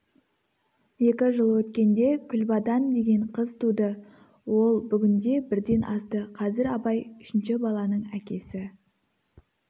екі жыл өткенде күлбадан деген қыз туды ол бүгінде бірден асты қазір абай үшінші баланың әкесі